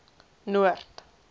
noord